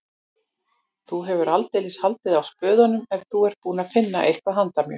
Þú hefur aldeilis haldið á spöðunum ef þú ert búinn að finna eitthvað handa mér